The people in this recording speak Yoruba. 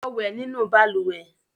Lọ wẹ nínú balùwẹ̀!